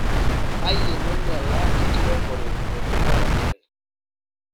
embaye nanyiala enkiremore otumoto enkare.